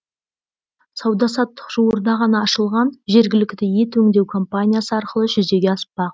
сауда саттық жуырда ғана ашылған жергілікті ет өңдеу компаниясы арқылы жүзеге аспақ